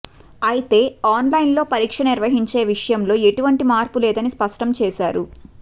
అయితే ఆన్లైన్లో పరీక్ష నిర్వహించే విషయంలో ఎటువంటి మార్పులేదని స్పష్టం చేశారు